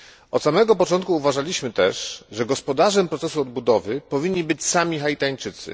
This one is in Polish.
Od samego początku uważaliśmy też, że gospodarzami procesu odbudowy powinni być sami Haitańczycy.